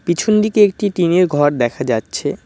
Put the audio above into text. পিছন দিকে একটি টিন -এর ঘর দেখা যাচ্ছে।